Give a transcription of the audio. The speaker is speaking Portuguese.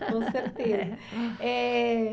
Com certeza.